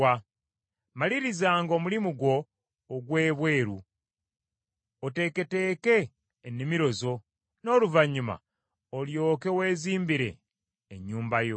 Malirizanga omulimu gwo ogw’ebweru, oteeketeeke ennimiro zo, n’oluvannyuma olyoke weezimbire ennyumba yo.